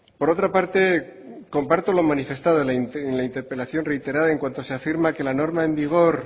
por otra parte comparto lo manifestado en la interpelación reiterada en cuanto se afirma que la norma en vigor